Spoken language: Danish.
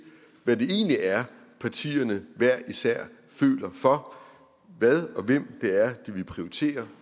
hvad det egentlig er at partierne hver især føler for hvad og hvem det er de vil prioritere